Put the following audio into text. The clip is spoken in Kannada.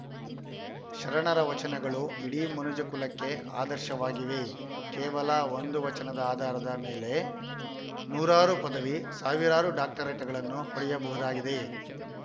ಶರಣರ ವಚನಗಳು ಇಡೀ ಮನುಜ ಕುಲಕ್ಕೆ ಆದರ್ಶವಾಗಿವೆ ಕೇವಲ ಒಂದು ವಚನದ ಆಧಾರದ ಮೇಲೆ ನೂರಾರು ಪದವಿ ಸಾವಿರಾರು ಡಾಕ್ಟರೇಟ್‌ಗಳನ್ನು ಪಡೆಯಬಹುದಾಗಿದೆ